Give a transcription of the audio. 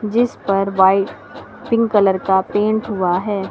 जिस पर white pink colour का पेंट हुआ है।